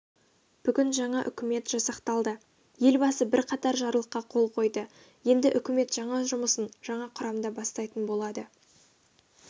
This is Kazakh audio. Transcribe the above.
бүгін жаңа үкімет жасақталды елбасы бірқатар жарлыққа қол қойды енді үкімет жұмысын жаңа құрамда бастайтын болады